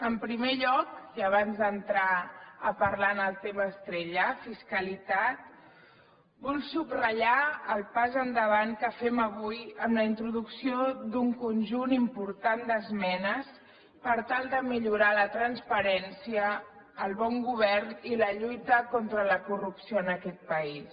en primer lloc i abans d’entrar a parlar del tema estrella fiscalitat vull subratllar el pas endavant que fem avui amb la introducció d’un conjunt important d’esmenes per tal de millorar la transparència el bon govern i la lluita contra la corrupció en aquest país